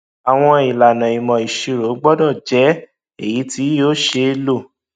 àwọn ìlànà ìmọ ìṣirò gbọdọ jẹ èyí tí yóò ṣeé lò